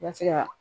I ka se ka